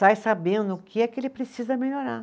sai sabendo o que é que ele precisa melhorar.